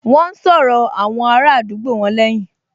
Wọ́n n sọ̀rọ̀ àwọn ará àdúgbò wọn lẹ́hìn